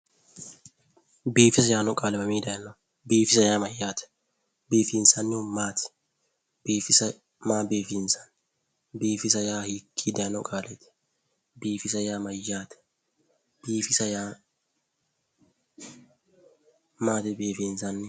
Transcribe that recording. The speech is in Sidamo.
biifisa yaanno qaali mami daynoho biifisa yaa mayyate biifinsannihu maati ? biifisa maa biifinsanni biifisa yaa hiikki dayino qaaleeti? biifisa yaa mayyaate maati biifinsannihu?